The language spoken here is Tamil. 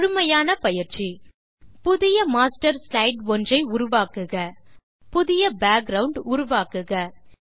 முழுமையான பயிற்சி புதிய மாஸ்டர் ஸ்லைடு ஒன்று உருவாக்குக புதிய பேக்கிரவுண்ட் உருவாக்குக